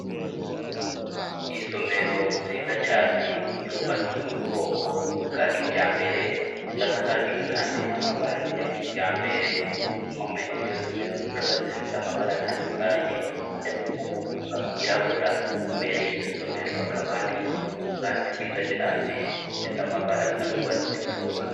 Isomero nziza cane yubatswe mu bwoko bwa kijambere isakajwe kandi n'amabati ya kijambere impome z'iryo somero zikaba zifise amabara atandukanye harimwo amabara yirabura imbere y'iryo somero hakaba hari ubwatsi bwiza cane bufise amabara asa n'ugwatsi rutoto.